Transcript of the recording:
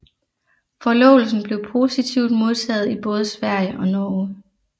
Forlovelsen blev positivt modtaget i både Sverige og Norge